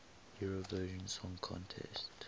eurovision song contest